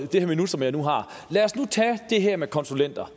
det her minut som jeg nu har lad os nu tage det her med konsulenter